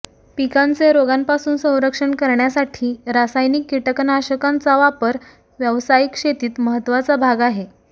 पिकांचे रोगांपासून संरक्षण करण्यासाठी रासायनिक कीटकनाशकांचा वापर व्यावसायिक शेतीत महत्त्वाचा भाग आहे